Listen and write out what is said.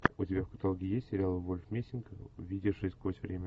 у тебя в каталоге есть сериал вольф мессинг видевший сквозь время